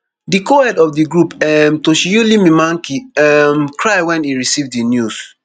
di cohead of di group um toshiyuili mimaki um cry wen e receive di news